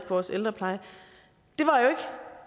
vores ældrepleje